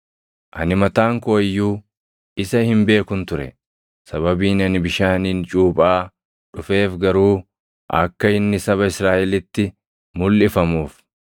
Ani mataan koo iyyuu isa hin beekun ture; sababiin ani bishaaniin cuuphaa dhufeef garuu akka inni saba Israaʼelitti mulʼifamuuf.”